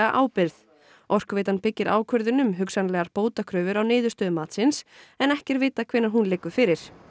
ábyrgð Orkuveitan byggir ákvörðun um hugsanlegar bótakröfur á niðurstöðu matsins en ekki er vitað hvenær hún liggur fyrir